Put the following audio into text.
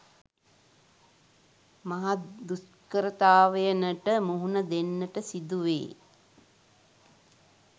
මහත් දුෂ්කරතාවයනට මුහුණ දෙන්නට සිදුවේ.